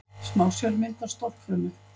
Smásjármynd af stofnfrumu.